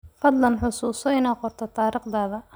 Fadlan xasuuso inaad qorto taariikhda.